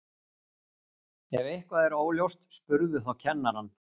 Ef eitthvað er óljóst spurðu þá kennarann.